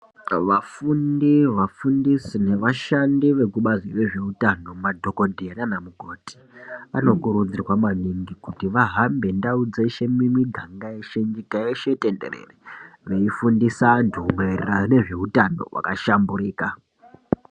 Vafundi vafundisi nevashandi vekubazi rezveutano madhokodhera neanamukoti vanokurudzirwa maningi kuti vahambe ndau dzeshe mimiganga nyika iyeshe tenderere veifundisa antu maererano nezveutano wakashamburika.